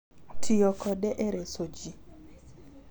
Tiyo kode e reso ji.